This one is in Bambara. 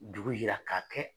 Dugu yira k'a kɛ